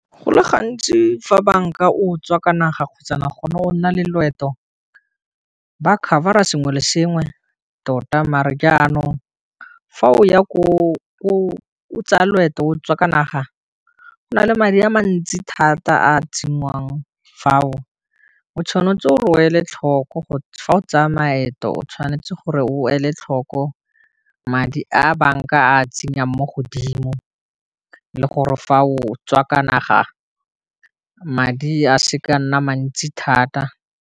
Go le gantsi fa banka o tswa ka naga kgotsa gone o nna le loeto ba cover-a sengwe le sengwe tota, mare jaanong fa o ya ko o tsaya loeto o tswa ka naga, go na le ka madi a mantsi thata a tsenngwang fao o tshwanetse o e le tlhoko fa o tsaya maeto o tshwanetse gore o le tlhoko madi a banka a tsenyang mo godimo, le gore fa o tswa ka naga madi a seke a nna mantsi thata.